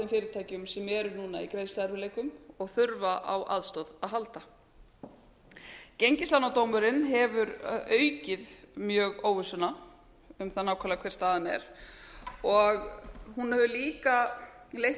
fyrirtækjum sem eru núna í greiðsluerfiðleikum og þurfa á aðstoð að halda gengislánadómurinn hefur aukið mjög óvissuna um það nákvæmlega hver staðan er og hún hefur líka leitt